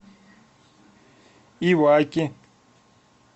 иваки